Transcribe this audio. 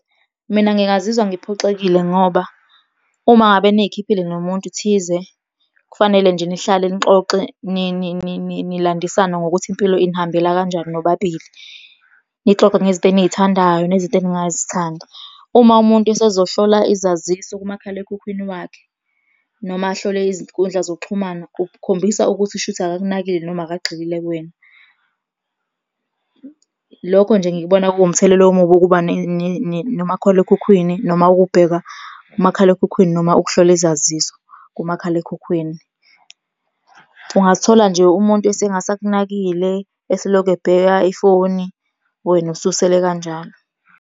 Mina ngingazizwa ngiphoxekile ngoba uma ngabe niyikhiphile nomuntu thize, kufanele nje nihlale nixoxe nilandisane ngokuthi impilo inihambela kanjani nobabili. Nixoxe ngezinto enizithandayo, nezinto eningazithandi. Uma umuntu esezohlola izaziso kumakhalekhukhwini wakhe noma ahlole izinkundla zokuxhumana kukhombisa ukuthi kushuthi akakunakile noma akagxilile kuwena. Lokho nje ngikubona kuwumthelela omubi wokuba nomakhalekhukhwini noma ukubheka umakhalekhukhwini noma ukuhlola izaziso kumakhalekhukhwini. Ungazithola nje umuntu esengasakunakile, eselokhu ebheka ifoni, wena ususele kanjalo.